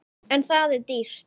En það er dýrt.